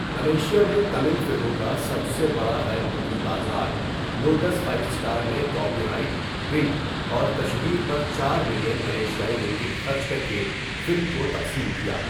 Malaysia میں، تمل فلموں کا سب سے بڑا غیر ملکی بازار، لوٹس فائیو سٹار نے کاپی رائٹ، پرنٹ اور تشہیر پر ۴ ملین ملائیشیائی رنگٹ خرچ کر کے فلم کو تقسیم کیا۔